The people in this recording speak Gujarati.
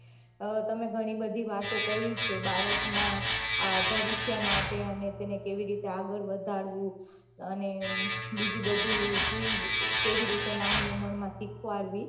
તમે ઘણી બઘી વાતો કહી છે બાળક ના ભવિષ્ય માટે અને તેને કેવી રીતે આગળ વાઘારવું અને બીજી બઘી ચીજ કેવી નાની ઉમર માં સીખવાળવી